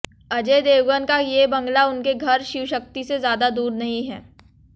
अजय देवगन का ये बंगला उनके घर शिवशक्ति से ज्यादा दूर नहीं है